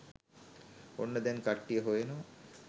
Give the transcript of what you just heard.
ඔන්න දැන් කට්ටිය හොයනවා